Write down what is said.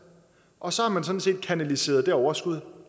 og så har man sådan set kanaliseret det overskud